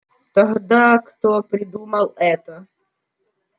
тогда кто придумал это